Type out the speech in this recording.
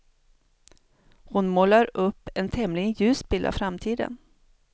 Hon målar upp en tämligen ljus bild av framtiden.